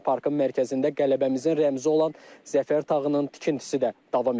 Parkın mərkəzində qələbəmizin rəmzi olan Zəfər tağının tikintisi də davam edir.